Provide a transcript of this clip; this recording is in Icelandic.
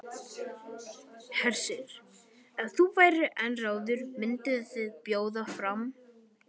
Hersir: Ef þú værir einráður, mynduð þið bjóða fram?